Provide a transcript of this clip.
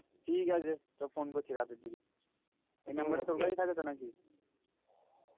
ঠিক আছে চ ফোন করছি রাতের দিকে এই number তোর কাছে থাকে তো নাকি?